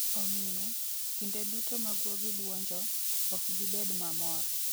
Omiyo, kinde duto ma guogi bwonjo, ok gibed mamor.